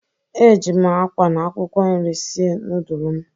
Eji m akwa na akwụkwọ nri sie nudul m.